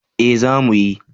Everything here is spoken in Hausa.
Eh za mu yi